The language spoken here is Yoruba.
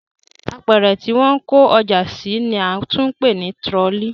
Apẹ̀rẹ̀ tí wọ́n ń kó ọjà sí ni a tún ń pè ní tirọlí